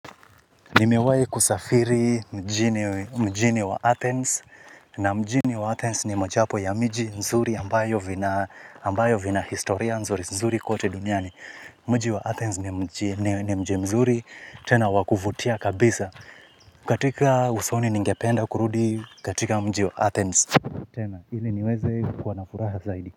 Nimewahi kusafiri mjini wa Athens. Na mjini wa Athens ni mojawapo ya miji nzuri ambayo vina ambayo vina historia nzuri nzuri kote duniani. Mji wa Athens ni mji mzuri tena wakuvutia kabisa. Katika usoni ningependa kurudi katika mji wa Athens. Tena, ili niweze kuwa na furaha zaidi.